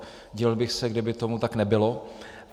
Divil bych se, kdyby tomu tak nebylo.